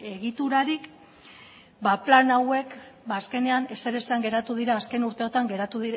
egiturarik ba plan hauek azkenean ezer esan geratu dira azken urteotan